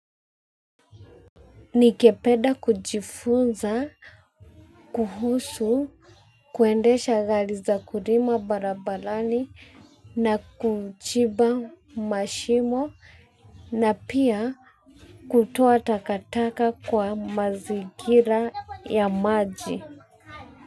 Nigepeda kujifunza, kuhusu, kuendesha gali za kurima barabalani na kujiba mashimo na pia kutoa takataka kwa mazigira ya maji.